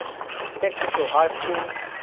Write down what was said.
technical high school